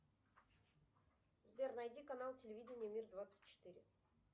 сбер найди канал телевидения мир двадцать четыре